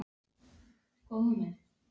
En ég get ekki leyft mér hvað sem er!